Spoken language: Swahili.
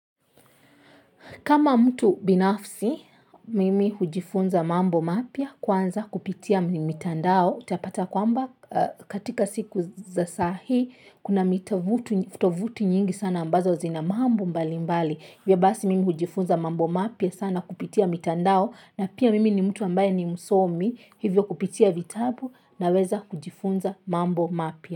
Kama mtu binafsi mimi hujifunza mambo mapya kwanza kupitia mitandao utapata kwamba katika siku za saa hii, kuna mitovuti nyingi sana ambazo zina mambo mbali mbali. Hivyo basi mimi hujifunza mambo mapya sana kupitia mitandao. Na pia mimi ni mtu ambaye ni msomi hivyo kupitia vitabu naweza kujifunza mambo mapya.